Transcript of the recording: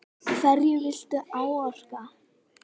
Hverju viltu áorka?